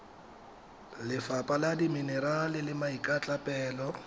lefapha la dimenerale le maikatlapelo